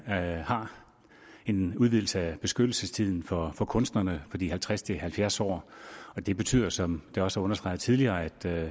har en udvidelse af beskyttelsestiden for for kunstnerne fra de halvtreds til halvfjerds år det betyder som det også er understreget tidligere at